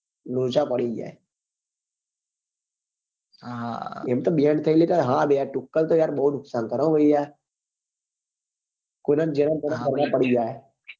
લોચા પડી જાય હા એમ કે banne થઇ ગયેલી હા તુક્કલ તો બઉ નુકસાન કરે હો ભાઈ યાર કોઈ નાં ગરમ ગરમ પડી જાય હા આગ લાગી જાય ભાઈ